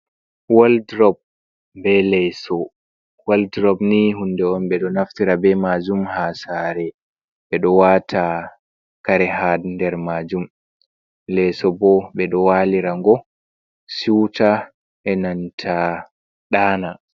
"Woldrob be leso" woldrob ni hunde on ɓeɗo naftira be majum ha saare ɓeɗo wata kare ha nder majum leso bo ɓeɗo walira ngo suta enanta ɗana.